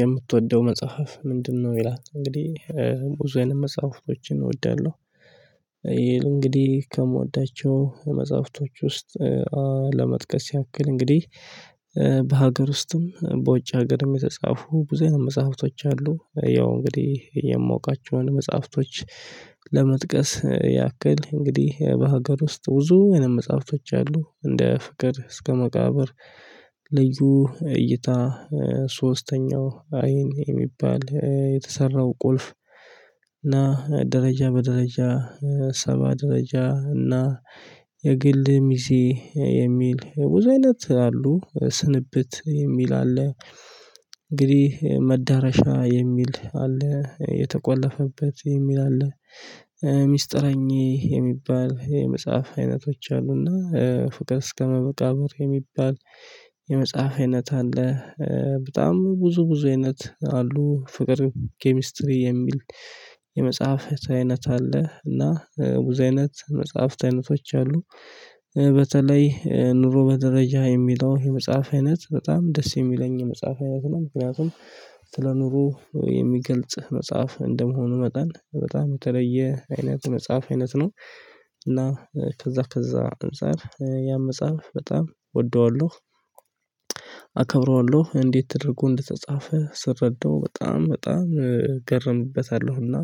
የምትወደው መጽሐፍ ምንድነው? ይላል እንግዲህ ብዙ አይነች መጽሐፍቶችን እወዳለሁ። እንግዲህ ከምወዳቸው መጽሐፍቶች ውስጥ ለመጥቀስ ያክል እንግዲህ በሀገር ውስጥም በውጭ ሀገርም የተጻፉ ብዙ አይነት መጽሐፍቶች አሉ። ያው እንግዲህ የማውቃቸውን መጽሐፍቶች። ለመጥቀስ ያክል እንግዲህ በሀገር ውስጥ ብዙ አይነት መጽሐፍቶች አሉ እንደ ፍቅር እስከ መቃብር። ልዩ እይታ ሶስተኛው አይን የሚባል የተሰራው ቁልፍ። እና ደረጃ በደረጃ ሰባ ደረጃ እና የግል ሚዜ የሚል ብዙ አይነት አሉ። ስንብት የሚል አለ። እንግዲህ መዳረሻ የሚል አለ። የተቆለፈበት የሚል አለ። ሚስጥረኛዬ የሚባል የመጽሐፍ አይነቶች አሉና ፍቅር እስከ መቃብር የሚባል። የመጽሐፍ አይነት አለ። በጣም ብዙ ብዙ አይነት አሉ። ፍቅር ኬሚስትሪ የሚል የመጽሐፍ አይነት አለ። እና ብዙ አይነት መጽሐፍት አይነቶች አሉ። በተለይ ኑሮ በደረጃ የሚለው የመጽሐፍ አይነት በጣም ደስ የሚለኝ የመጽሐፍ አይነት ነው። ምክንያቱም ስለ ኑሮ የሚገልጽ መጽሐፍ እንደመሆኑ መጠን በጣም የተለየ አይነት መጽሐፍ አይነት ነው። እና ከዛ ከዛ መጽሐፍ ያን መጽሐፍ በጣም እወደዋለሁ። አከብረዋለሁ እንዴት ተደርጎ እንደተጻፈ ስረዳው በጣም በጣም እገረምበታለሁና።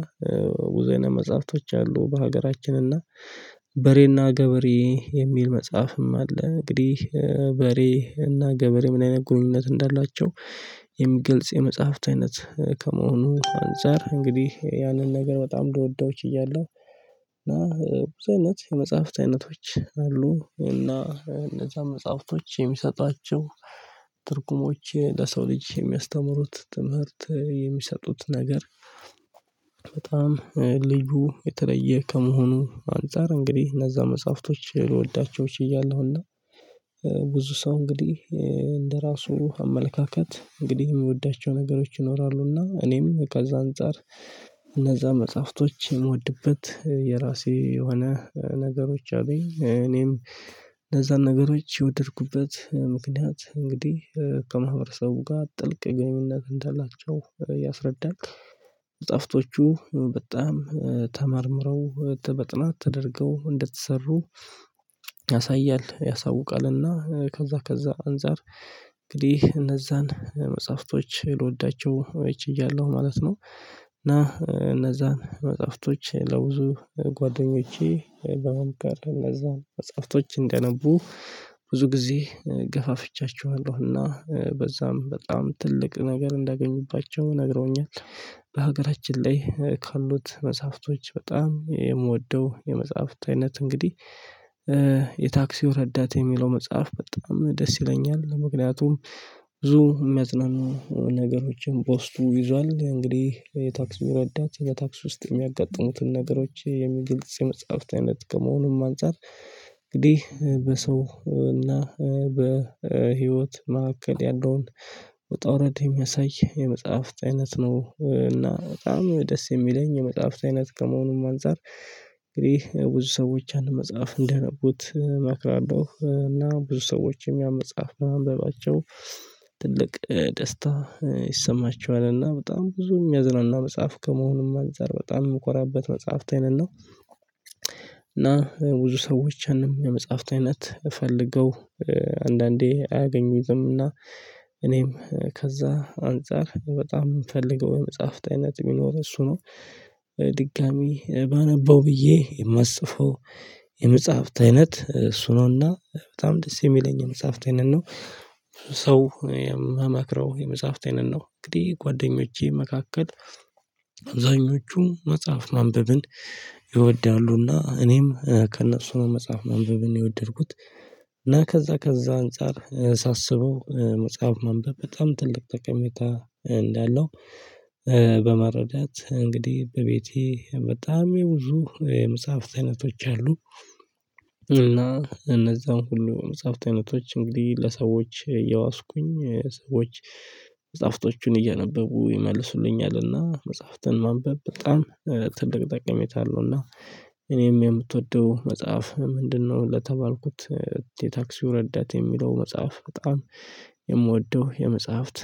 ብዙ አይነት መጽሐፍቶች አሉ። በሀገራችን እና በሬና ገበሬ የሚል መጽሐፍም አለ። እንግዲህ በሬና ገበሬ ምን አይነት ግንኙነት እንዳላቸው የሚገልጽ የመጽሐፍት አይነት ከመሆኑ አንፃር እንግዲህ ያንን ነገር በጣም ልወደው ችያለሁ። እና ብዙ አይነት የመጽሐፍት አይነቶች አሉ። እና እነዛ መጽሐፍቶች የሚሰጧቸው ትርጉሞች ለሰው ልጅ የሚያስተምሩት ትምህርት የሚሰጡት ነገር። በጣም ልዩ የተለየ ከመሆኑ አንፃር እንግዲህ እነዛ መጽሐፍቶች ልወዳቸው ችያለሁ። እና ብዙ ሰው እንግዲህ እንደራሱ አመለካከት እንግዲህ የሚወዳቸው ነገሮች ይኖራሉና እኔም ከዛ አንፃር እነዛን መጽሐፍቶች የምወድበት የራሴ የሆነ ነገሮች አሉኝ። እኔም እነዛን ነገሮች የወደድኩበት ምክንያት እንግዲህ ከማህበረሰቡ ጋር ጥልቅ ግንኙነት እንዳላቸው ያስረዳል። መጽሀፍቶቹ በጣም ተመርምረው በጥናት ተደርገው እንደተሰሩ ያሳያል ያሳውቃልና ከዛ ከዛ አንፃር እንግዲህ እነዛን መጽሐፍቶች ልወዳቸው ችያለሁ ማለት ነው። እና እነዛን መጽሐፍቶች ለብዙ ጓደኞቼ በመምከር እነዛን መጽሐፍቶች እንዲያነቡ ብዙ ጊዜ ገፋፍቻቸዋለሁና በዛም በጣም ትልቅ ነገር እንዳገኙባቸው ነግረውኛል። በሀገራችን ላይ ካሉት መጽሐፍቶች በጣም የምወደው የመጽሐፍት አይነት እንግዲህ የታክሲው ረዳት የሚለው መጽሐፍ በጣም ደስ ይለኛል። ምክንያቱም ብዙ የሚያጽናኑ ነገሮችን በውስጡ ይዟል። እንግዲህ የታክሲው ረዳት በታክሲ ውስጥ የሚያጋጥሙትን ነገሮች የሚገልጽ የመጽሐፍት አይነት ከመሆኑም አንፃር እንግዲህ በሰው እና በህይወት መካከል ያለውን ውጣ ውረድ የሚያሳይ የመጽሐፍት አይነት ነው። እና በጣም ደስ የሚለኝ የመጽሐፍት አይነት ከመሆኑም አንፃር እንግዲህ ብዙ ሰዎች ያንን መጽሐፍ እንዲያነቡት እመክራለሁ። እና ብዙ ሰዎችም ያን መጽሐፍ ማንበባቸው ትልቅ ደስታ ይሰማቸዋል። እና በጣም ብዙ የሚያዝናና መጽሐፍ ከመሆኑም አንፃር በጣም የምኮራበት መጽሐፍት አይነት ነው። እና ብዙ ሰዎችንም የመጽሐፍት አይነት እፈልገው አንዳንዴ አያገኙትምና እኔም ከዛ አንፃር በጣም የምፈልገው የመጽሐፍት አይነት ቢኖር እሱ ነው። ድጋሚ ባነበው ብዬ የማስበው የመጽሐፍት አይነት እሱ ነውና በጣም ደስ የሚለኝ የመጽሐፍት አይነት ነው። ሰው የምመክረው የመጽሐፍት አይነት ነው። እንግዲህ ጓደኞቼ መካከል አብዛኞቹ መጽሐፍ ማንበብን ይወዳሉና እኔም ከእነሱ ነው መጽሐፍ ማንበብን የወደድኩት። እና ከዛ ከዛ አንፃር ሳስበው መጽሐፍ ማንበብ በጣም ትልቅ ጠቀሜታ እንዳለው። በመረዳት እንግዲህ በቤቴ በጣም የብዙ የመጽሐፍት አይነቶች አሉ። እና እነዛን ሁሉ መጽሐፍት አይነቶች እንግዲህ ለሰዎች እያዋስኩኝ ሰዎች መጽሐፍቶቹን እያነበቡ ይመልሱልኛልና። መጽሐፍትን ማንበብ በጣም ትልቅ ጠቅሜታ አለው። እና እኔም የምትወደው መጽሐፍ ምንድነው? ለተባልኩት የታክሲው ረዳት የሚለው መጽሐፍ በጣም የምወደው የመጽሐፍት